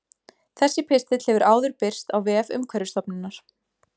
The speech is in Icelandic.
Þessi pistill hefur áður birst á vef Umhverfisstofnunar.